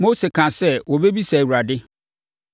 Mose kaa sɛ ɔbɛbisa Awurade.